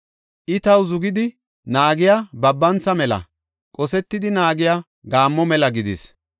I, taw zugidi naagiya babantha mela, qosetidi naagiya gaammo mela gidis.